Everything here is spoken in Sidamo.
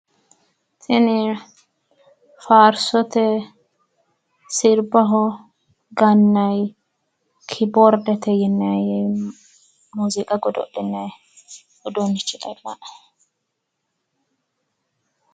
Tini faarsote sirbaho gannayi kiboordete yinayi muuziiqa godo'linayi uduunnicho labbawoe.